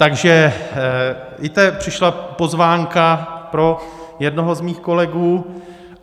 Takže víte, přišla pozvánka pro jednoho z mých kolegů.